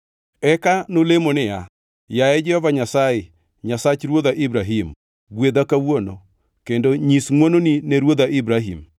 Eka nolemo niya, “Yaye Jehova Nyasaye Nyasach ruodha Ibrahim, gwedha kawuono, kendo nyis ngʼwononi ne ruodha Ibrahim.